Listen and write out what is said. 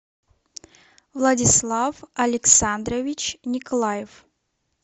владислав александрович николаев